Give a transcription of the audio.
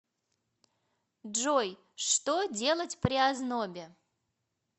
джой что делать при ознобе